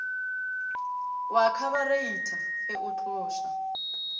wa khabareitha ge o tloša